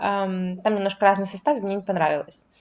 а там немножко разные составы и мне не понравилось